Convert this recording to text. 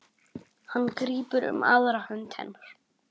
Hann grípur um aðra hönd hennar.